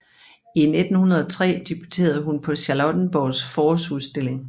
I 1903 debuterede hun på Charlottenborgs Forårsudstilling